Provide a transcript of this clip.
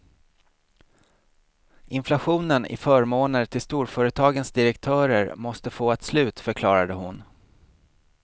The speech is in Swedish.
Inflationen i förmåner till storföretagens direktörer måste få ett slut, förklarade hon.